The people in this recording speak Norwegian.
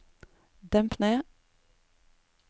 demp ned